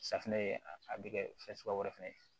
Safunɛ ye a bɛ kɛ fɛn suguya wɛrɛ fɛnɛ ye